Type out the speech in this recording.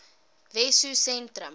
wessosentrum